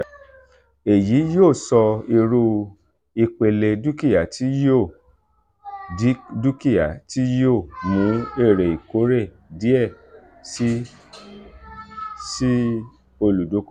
eyi yoo sọ iru ipele dukia ti yoo dukia ti yoo mu ere ikore diẹ sii si oludokoowo.